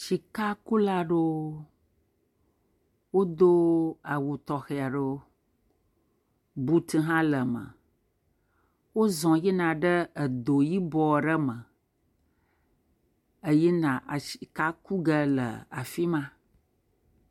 Sikakula aɖewo wodo awu tɔxɛ aɖewo, buti hã le eme, wozɔ̃ yina ɖe do yibɔ aɖe me eyina sika ku ge le afi ma.